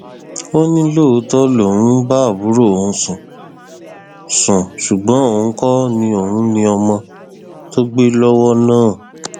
ó ní lóòótọ lòun ń bá àbúrò òun sùn sùn ṣùgbọn òun kò ní òun ní ọmọ tó gbé lọwọ náà